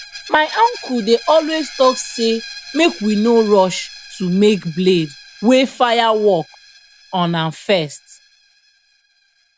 my uncle dey always talk say make we no rush to make blade wey fire work on am first